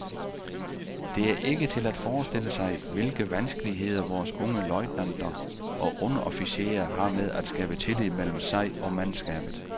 Det er ikke til at forestille sig, hvilke vanskeligheder vores unge løjtnanter og underofficerer har med at skabe tillid mellem sig og mandskabet.